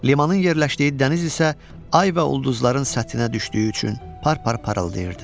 Limanın yerləşdiyi dəniz isə ay və ulduzların səthinə düşdüyü üçün par-par parıldayırdı.